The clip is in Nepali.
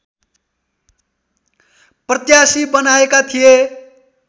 प्रत्याशी बनाएका थिए